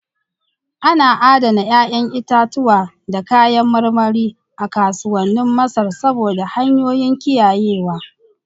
Ana adana 'ya'yan itatuwa da kayan marmari a kasuwannin Masar saboda hanyoyin kiyayewa.